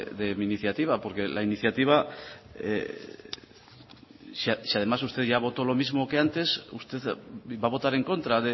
de mi iniciativa porque la iniciativa si además usted ya votó lo mismo que antes usted va a votar en contra